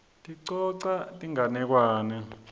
sicoca tinganekwane